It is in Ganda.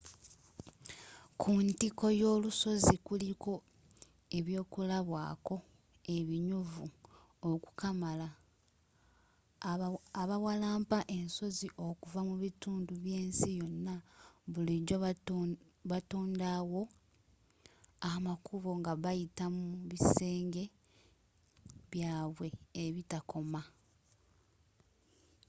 ku ntikko y'olusozi kuliko ebyokulabwaako ebinyuvu okukamala abawalampa ensozi okuva mu bitundu by'ensi yonna bulijjo batondawo amakubo nga bayita mu bisenge byabwe ebitakoma